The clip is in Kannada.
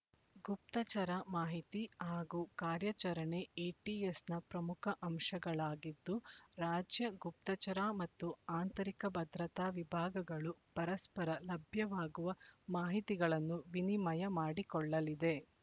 ಗುಪ್ತಚರ ಮಾಹಿತಿ ಹಾಗೂ ಕಾರ್ಯಾಚರಣೆ ಎಟಿಎಸ್‌ನ ಪ್ರಮುಖ ಅಂಶಗಳಾಗಿದ್ದು ರಾಜ್ಯ ಗುಪ್ತಚರ ಮತ್ತು ಆಂತರಿಕ ಭದ್ರತಾ ವಿಭಾಗಗಳು ಪರಸ್ಪರ ಲಭ್ಯವಾಗುವ ಮಾಹಿತಿಗಳನ್ನು ವಿನಿಮಯ ಮಾಡಿಕೊಳ್ಳಲಿದೆ